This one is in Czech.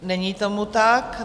Není tomu tak.